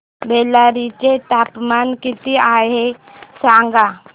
बेल्लारी चे तापमान किती आहे सांगा